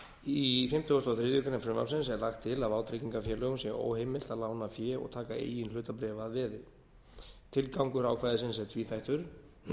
í fimmtugasta og þriðju grein frumvarpsins er lagt til að vátryggingafélögum sé óheimilt að lána fé og taka eigin hlutabréf að veði tilgangur ákvæðisins er tvíþættur